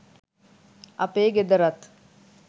අපේ ගෙදරත්